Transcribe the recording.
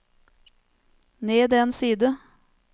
ned en side